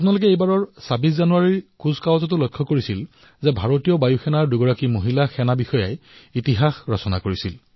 আপোনালোকে এইবাৰৰ ২৬ জানুৱাৰীৰ পেৰেডতো মন কৰিছে যত ভাৰতীয় বায়ু সেনাৰ দুগৰাকী মহিলা বিষয়াই নতুন ইতিহাস ৰচনা কৰিছে